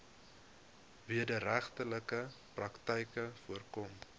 wederregtelike praktyke voorkom